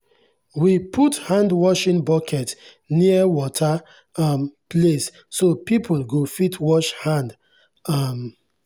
we put handwashing bucket near water um place so people go fit wash hand. um